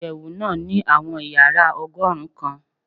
Iyẹwu naa ni awọn yara ọgọrun kan